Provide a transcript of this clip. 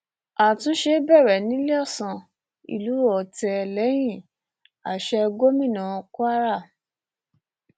àtúnṣe bẹrẹ níléeọsán ìlú otte lẹyìn àsè gómìnà kwara